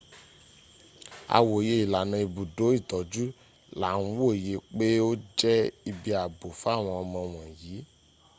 a wòye ilànà ibùdó itọ́jú là ń wòye pé ó jẹ́ ibi ààbò fáwọn ọmọ wọ̀nyìí